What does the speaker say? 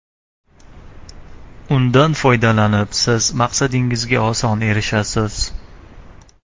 Undan foydalanib siz maqsadingizga oson erishasiz!